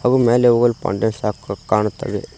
ಮ್ಯಾಲೆ ಹೋಗಲ್ ಪಾಂಡೆ ಶಾಪ್ ಕಾಣುತ್ತದೆ.